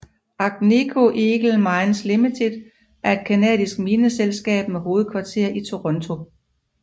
Agnico Eagle Mines Limited er et canadisk guldmineselskab med hovedkvarter i Toronto